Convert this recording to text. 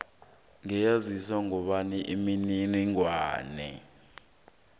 ngiyezwisisa kobana imininingwana